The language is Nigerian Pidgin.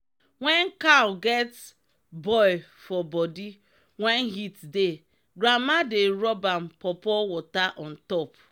wen cow get boil for body wen heat dey grandma dey rub am pawpaw water ontop.